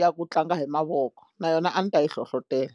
ya ku tlanga hi mavoko na yona a ni ta yi hlohlotelo.